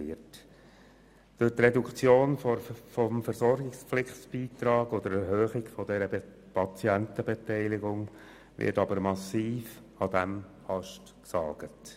Durch die Reduktion des Versorgungspflichtbeitrags oder die Erhöhung der Patientenbeteiligung wird aber massiv an diesem Ast gesägt.